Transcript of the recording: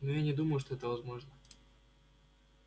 но я не думаю что это возможно